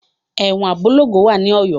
Ẹ̀wọn Abolongo wà ní Ọ̀yọ́.